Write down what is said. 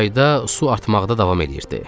Çayda su artmaqda davam eləyirdi.